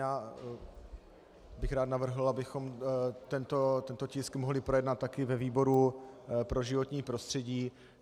Já bych rád navrhl, abychom tento tisk mohli projednat taky ve výboru pro životní prostředí.